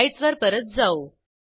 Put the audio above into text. स्लाईडसवर परत जाऊ